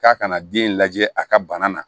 K'a kana den lajɛ a ka bana na